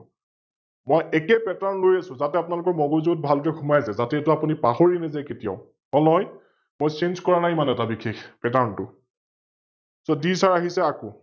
মই একে Pattern লৈ আছো, যাতে আপোনালোকৰ মগুজুত ভালকৈ সোমাই যাই, যাতে এইতো আপোনি পাহৰি নেযাই কেতিয়াও? হল নহয়? মই Change কৰা নাই ইমান এটা বিষেশ Pattern টো আহিছে আকৌ